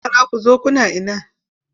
Yara ku zo kuna ina!